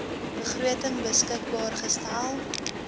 begroting beskikbaar gestel